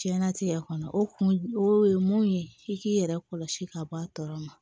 Diɲɛnatigɛ kɔni o kun o ye mun ye i k'i yɛrɛ kɔlɔsi ka bɔ a tɔɔrɔ ma